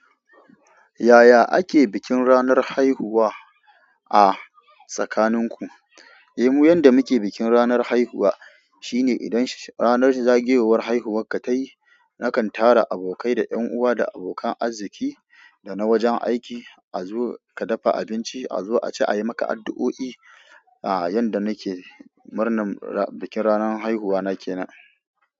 Yaya ake bikin ranar haihuwa a tsakaninku? Eh mu yanda muke bikin ranar haihuwa shine idan ranar zagayowar haihuwarka ta yi, na kan tara abokai da ƴan uwa da abokan arziƙi da na wajen aiki a zo ka dafa abinci a zo a ci, a yi maka addu'o'i. Aa yanda nike, murnan bikin ranar haihuwa na kenan.